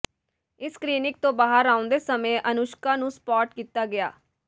ਇਸ ਕਲੀਨਿਕ ਤੋਂ ਬਾਹਰ ਆਉਂਦੇ ਸਮੇਂ ਅਨੁਸ਼ਕਾ ਨੂੰ ਸਪਾਟ ਕੀਤਾ ਗਿਆ